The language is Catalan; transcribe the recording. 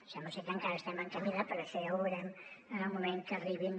sembla ser que encara estem en camí de però això ja ho veurem en el moment que arribin